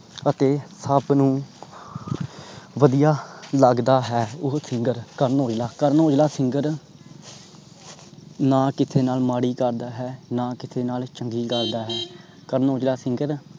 ਅਤੇ ਸਬ ਨੂੰ ਵਧੀਆ ਲੱਗਦਾ ਹੈ। ਓਹੋ singer ਕਰਨ ਔਜਲਾ ਕਰਨ ਔਜਲਾ singer ਨਾ ਕਿਸੇ ਨਾਲ ਮਾੜੀ ਕਰਦਾ ਹੈ ਤੇ ਨਾ ਕਿਸੇ ਨਾਲ ਚੰਗੀ ਕਰਦਾ ਹੈ। ਕਰਨ ਔਜਲਾ singer